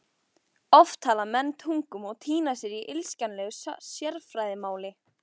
Oft tala menn tungum og týna sér í illskiljanlegu sérfræðimáli.